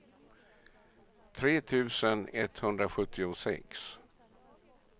tre tusen etthundrasjuttiosex